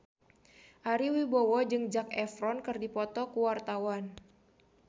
Ari Wibowo jeung Zac Efron keur dipoto ku wartawan